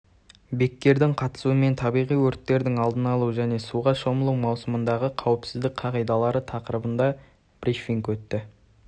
беккердің қатысуымен табиғи өрттердің алдын алу және суға шомылу маусымындағы қауіпсіздік қағидалары тақырыбында брифинг өтті